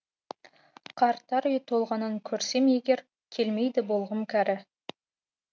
қарттар үйі толғанын көрсем егер келмейді болғым кәрі